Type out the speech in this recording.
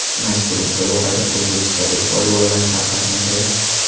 Mazkur musobaqada o‘zbekistonlik polvonlar ham qatnashadi.